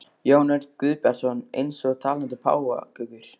Jón Örn Guðbjartsson: Eins og talandi páfagaukar?